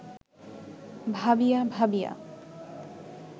ভাবিয়া ভাবিয়া